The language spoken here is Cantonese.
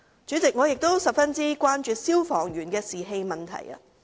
主席，我亦十分關注消防員的士氣問題。